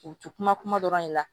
U ti kuma kuma dɔ la de la